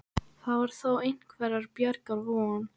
Þar var þó einhverrar bjargar von.